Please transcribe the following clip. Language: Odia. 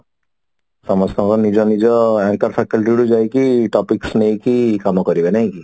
ସମସ୍ତେ ନିଜ ନିଜ sector କୁ ଯାଇକି topics ନେଇକି କମ କରିବ ନାଇଁ କି